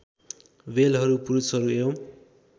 बेलहरू पुष्पहरू एवम्